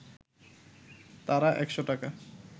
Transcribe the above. তারা একশ’ টাকা